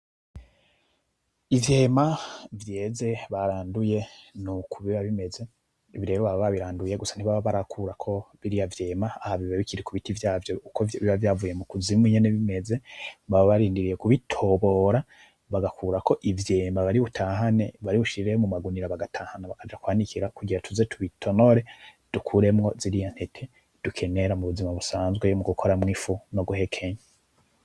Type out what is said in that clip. Ivyema vyeze baranduye nuku biba bimeze ibi rero baba babiranduye gusa ntibaba barakurako biriya vyema aha biba bikiri kubiti vyavyo uko biba vyavuye mu kuzimu nyene bimeze baba barindiriye kubitobora bagakurako ivyema bari butahane bari bushire mu magunira bagatahana bakaja kwanikira kugira tuze tubitonore dukuremwo ziriya ntete dukenera mu buzima busanzwe mugukoramwo ifu noguhekenya.